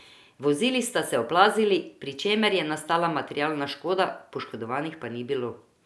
Vozili sta se oplazili, pri čemer je nastala materialna škoda, poškodovanih pa ni bilo.